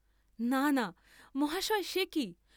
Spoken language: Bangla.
না না মহাশয় সে কি?